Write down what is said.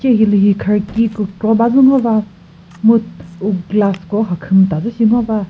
hilühi kharki kükro badzü ngo va mu u glass ko kha khümta dzü shi ngo va.